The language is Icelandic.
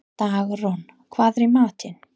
Dagrún, hvað er í matinn?